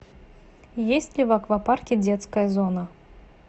есть ли в аквапарке детская зона